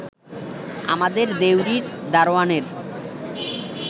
আমাদের দেউড়ির দারওয়ানের